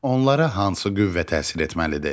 Onlara hansı qüvvə təsir etməlidir?